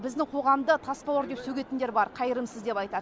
біздің қоғамды тас бауыр деп сөгетіндер бар қайырымсыз деп айтады